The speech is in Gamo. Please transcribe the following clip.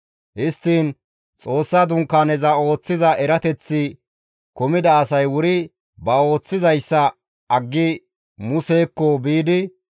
Histtiin Xoossa Dunkaaneza ooththiza erateththi kumida asay wuri ba ooththizayssa aggi Musekko biidi,